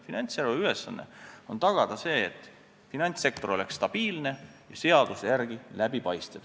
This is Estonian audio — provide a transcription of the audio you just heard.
Finantsjärelevalve ülesanne on tagada see, et finantssektor oleks stabiilne ja seaduse järgi ka läbipaistev.